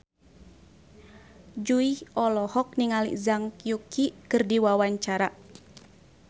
Jui olohok ningali Zhang Yuqi keur diwawancara